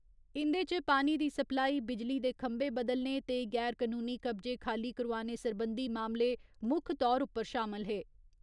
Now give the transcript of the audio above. इंदे च पानी दी सप्लाई, बिजली दे खंबे बदलने ते गैर कनूनी कब्जे खाली करोआने सरबंधी मामले मुक्ख तौर उप्पर शामल हे।